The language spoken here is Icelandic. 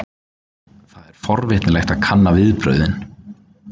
Það er forvitnilegt að kanna viðbrögðin.